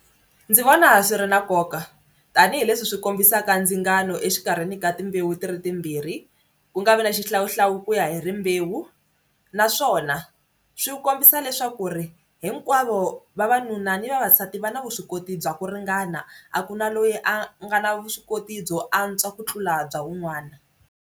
Ndzi vona swi ri na nkoka tanihileswi swi kombisaka ndzingano exikarhini ka timbewu ti ri timbirhi ku nga vi na xihlawuhlawu ku ya hi rimbewu naswona swi kombisa leswaku hinkwavo vavanuna ni vavasati va na vuswikoti bya ku ringana a ku na loyi a nga na vuswikoti byo antswa ku tlula bya wun'wana.